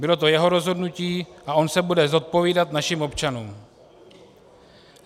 Bylo to jeho rozhodnutí a on se bude zodpovídat našim občanům.